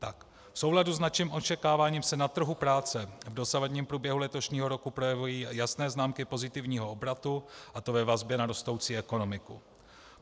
V souladu s naším očekáváním se na trhu práce v dosavadním průběhu letošního roku projevují jasné známky pozitivního obratu, a to ve vazbě na rostoucí ekonomiku.